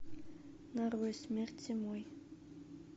нарой смерть зимой